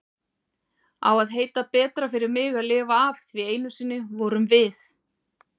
Á að heita betra fyrir mig að lifa af því einu sinni vorum við?